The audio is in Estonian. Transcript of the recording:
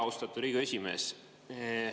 Austatud Riigikogu esimees!